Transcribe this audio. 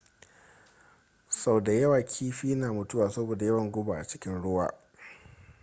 sau da yawa kiifi na mutuwa saboda yawan guba a cikin ruwa